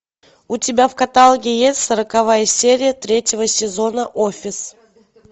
у тебя в каталоге есть сороковая серия третьего сезона офис